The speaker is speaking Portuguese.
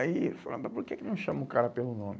Aí eu falava, mas por que que não chamam o cara pelo nome?